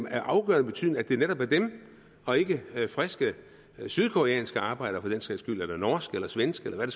af afgørende betydning at det netop er dem og ikke friske sydkoreanske arbejdere for den sags skyld eller norske eller svenske eller hvad